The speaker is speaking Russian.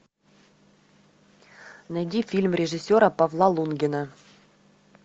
найди фильм режиссера павла лунгина